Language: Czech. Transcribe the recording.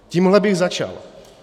Tímhle bych začal.